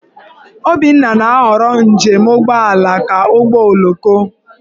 Obinna na-ahọrọ njem ụgbọala ka ụgbọoloko.